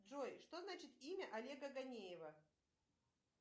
джой что значит имя олега гонеева